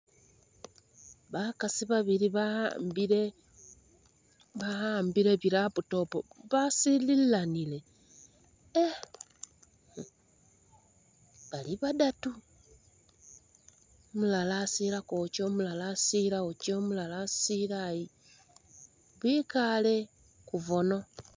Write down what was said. Bakaasi babili ba'ambile ba'ambile bi'laptop basililanile e bali badatu, umulala asila kuwakyo umulala asila wokye umulala asila ayo ,bikale kubono